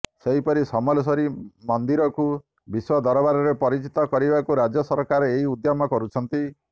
ସେହିପରି ସମଲେଶ୍ବରୀ ମନ୍ଦିରକୁ ବିଶ୍ବ ଦରବାରରେ ପରିଚିତ କରିବାକୁ ରାଜ୍ୟ ସରକାର ଏହି ଉଦ୍ୟମ କରୁଛନ୍ତି